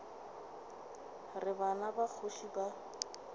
re bana ba kgoši ba